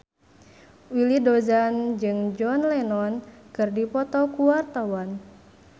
Willy Dozan jeung John Lennon keur dipoto ku wartawan